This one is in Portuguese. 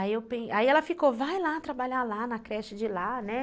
Aí ela ficou, vai lá trabalhar lá na creche de lá, né?